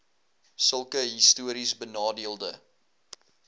sulke histories benadeelde